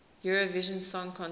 eurovision song contest